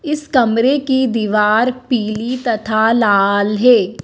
इस कमरे की दीवार पीली तथा लाल है।